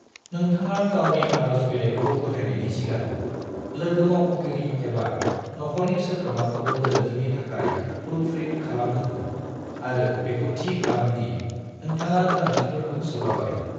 नोंथाङा गावनि आरज बिलायखौ गथायनायनि सिगां, लोगोमावख'गिरि एबा नखरनि सोद्रोमाखौ गोरोन्थिनि थाखाय प्रूफरीड खालामहो आरो बेखौ थि खालाम दि नोंथाङा गोनांथिफोरखौ सोफाबाय।